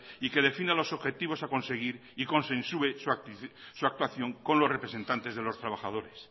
y que defina los objetivos a conseguir y consensue su actuación con los representantes de los trabajadores